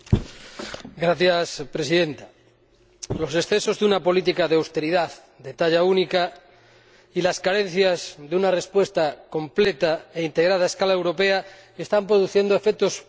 Señora Presidenta, los excesos de una política de austeridad de talla única y las carencias de una respuesta completa e integrada a escala europea están produciendo efectos muy dañinos.